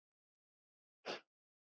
Þín dóttir, Inga.